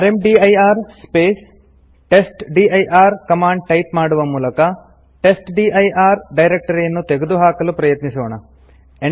rmdir space testdir command type ಮಾಡುವ ಮೂಲಕ testdir ಡೈರೆಕ್ಟರಿಯನ್ನು ತೆಗೆದುಹಾಕಲು ಪ್ರಯತ್ನಿಸೋಣ